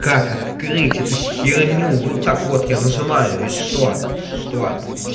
как открыть эту херню вот так вот я нажимаю и что что